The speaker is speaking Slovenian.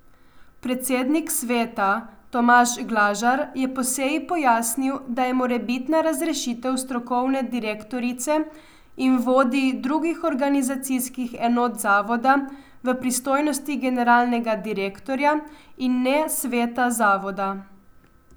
Predsednik sveta Tomaž Glažar je po seji pojasnil, da je morebitna razrešitev strokovne direktorice in vodij drugih organizacijskih enot zavoda v pristojnosti generalnega direktorja in ne sveta zavoda.